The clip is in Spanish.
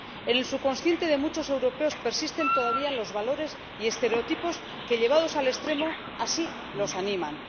En el subconsciente de muchos europeos persisten todavía los valores y estereotipos que, llevados al extremo, lo animan.